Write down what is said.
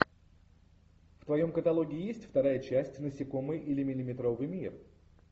в твоем каталоге есть вторая часть насекомые или миллиметровый мир